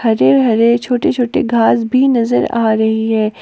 हरे हरे छोटे छोटे घास भी नजर आ रही है।